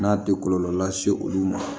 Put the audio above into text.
N'a tɛ kɔlɔlɔ lase olu ma